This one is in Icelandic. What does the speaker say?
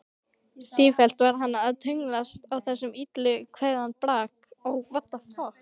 Sífellt var hann að tönnlast á þessum illa kveðna brag.